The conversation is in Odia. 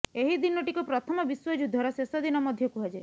ଏହି ଦିନଟିକୁ ପ୍ରଥମ ବିଶ୍ୱଯୁଦ୍ଧର ଶେଷ ଦିନ ମଧ୍ୟ କୁହାଯାଏ